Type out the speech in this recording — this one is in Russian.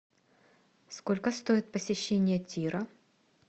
сколько стоит посещение тира